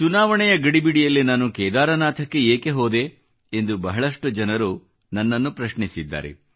ಚುನಾವಣೆಯ ಗಡಿಬಿಡಿಯಲ್ಲಿ ನಾನು ಕೇದಾರನಾಥಕ್ಕೆ ಏಕೆ ಹೋದೆ ಎಂದು ಬಹಳಷ್ಟು ಜನರು ನನ್ನ ಪ್ರಶ್ನೆ ಕೇಳಿದ್ದಾರೆ